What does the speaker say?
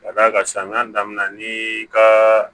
Ka d'a kan samiya daminɛna n'i ka